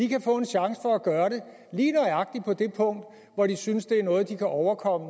kan få en chance for at gøre det lige nøjagtig på det punkt hvor de synes det er noget de kan overkomme